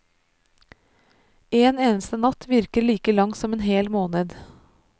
En eneste natt virker like lang som en hel måned!